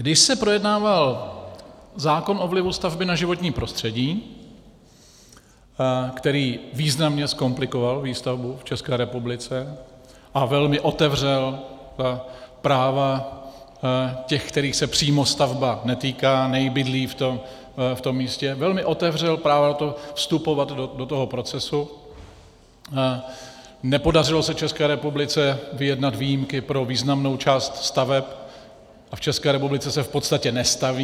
Když se projednával zákon o vlivu stavby na životní prostředí, který významně zkomplikoval výstavbu v České republice a velmi otevřel práva těch, kterých se přímo stavba netýká, nebydlí v tom místě, velmi otevřel právo vstupovat do toho procesu, nepodařilo se České republice vyjednat výjimky pro významnou část staveb a v České republice se v podstatě nestaví.